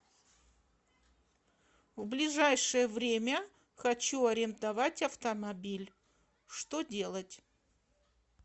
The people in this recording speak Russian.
в ближайшее время хочу арендовать автомобиль что делать